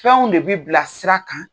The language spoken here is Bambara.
Fɛnw de bɛ bila sira kan